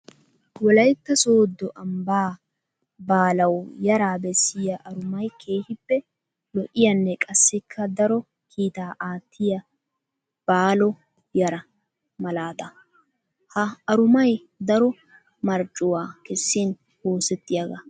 Wolaytta soodo ambba baaluwa yara besiya arumay keehippe lo'iyanne qassikka daro kiitta aatiya baalo yara malaata. Ha arumay daro marccuwa kessin oosetiyaaga.